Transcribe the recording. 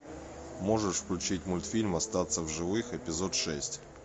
можешь включить мультфильм остаться в живых эпизод шесть